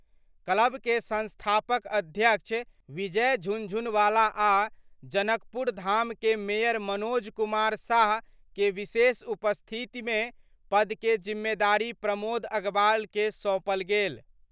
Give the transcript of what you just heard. Club के संस्थापक अध्यक्ष विजय झुनझुनवाला आ जनकपुरधाम के मेयर मनोज कुमार साह के विशेष उपस्थिति में पद के जिम्मेदारी प्रमोद अग्रवाल के सौंपल गेल।